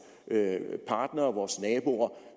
partnere vores naboer